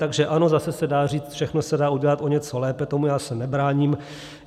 Takže ano, zase se dá říct, všechno se dá udělat o něco lépe, tomu já se nebráním.